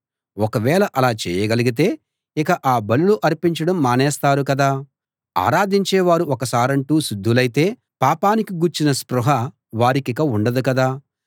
ఒకవేళ అలా చేయగలిగితే ఇక ఆ బలులు అర్పించడం మానేస్తారు కదా ఆరాధించేవారు ఒక సారంటూ శుద్ధులైతే పాపానికి గూర్చిన స్పృహ వారికిక ఉండదు కదా